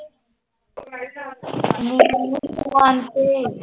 ਤੇ